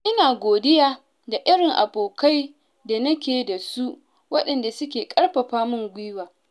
Ina godiya da irin abokai da nake da su, waɗanda suke ƙarfafa min gwiwa.